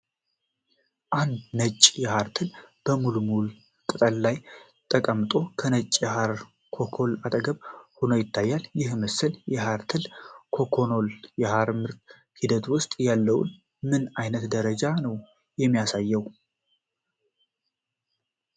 አንድ ነጭ የሐር ትል በሙልበሪ ቅጠሎች ላይ ተቀምጦ፣ ከነጭ የሐር ኮኮኖች አጠገብ ሆኖ ይታያል፤ ይህ ምስል የሐር ትል እና ኮኮኖች የሐር ምርት ሂደት ውስጥ ያለውን ምን ዓይነት ደረጃ ነው የሚያሳየው?